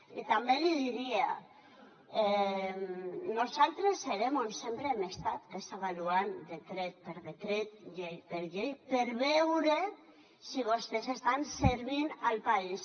i també li diria nosaltres serem on sempre hem estat que és avaluant decret per decret llei per llei per veure si vostès estan servint el país